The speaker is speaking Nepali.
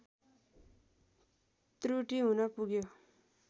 त्रुटि हुन पुग्यो